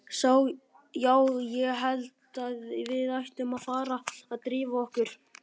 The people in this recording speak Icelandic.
Já, ég held að við ættum að fara að drífa okkur.